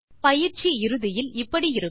பயிற்சி இறுதியில் இப்படி இருக்கும்